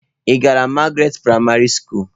Ị gara Magaratị praịmarị skulu?